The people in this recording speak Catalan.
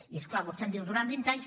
i és clar vostè em diu durant vint anys